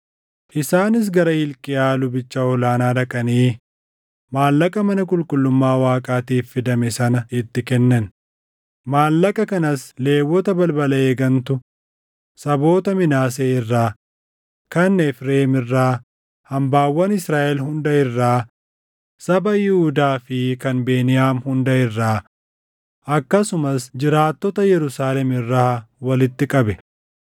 Isaanis gara Hilqiyaa lubicha ol aanaa dhaqanii maallaqa mana qulqullummaa Waaqaatiif fidame sana itti kennan; maallaqa kanas Lewwota balbala eegantu saboota Minaasee irraa, kan Efreem irraa, hambaawwan Israaʼel hunda irraa, saba Yihuudaa fi kan Beniyaam hunda irraa akkasumas jiraattota Yerusaalem irraa walitti qabe.